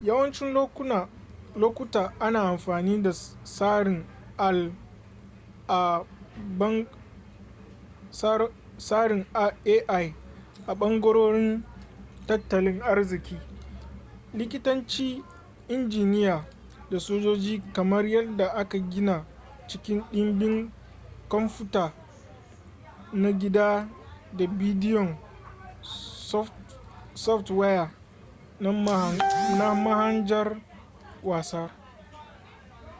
yawacin lokuta ana amfani da tsarin ai a bangarorin tattalin arziki likitanci injiniya da sojoji kamar yadda aka gina cikin ɗimbin komfuta na gida da bidiyon softwaya na mahanjar wasa